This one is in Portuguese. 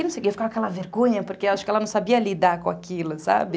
E não sei o quê, eu ficava com aquela vergonha, porque acho que ela não sabia lidar com aquilo, sabe?